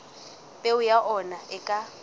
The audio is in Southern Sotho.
peo ya ona e ka